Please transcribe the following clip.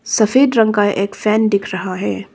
सफेद रंग का एक फैन दिख रहा है।